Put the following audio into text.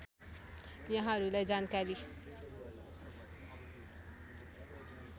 यहाँहरूलाई जानकारी